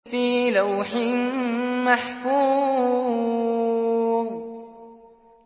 فِي لَوْحٍ مَّحْفُوظٍ